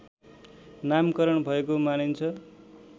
नामकरण भएको मानिन्छ